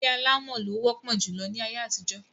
Ilé alámọ̀ ló wọ́pọ̀ júlọ láyé àtijọ́.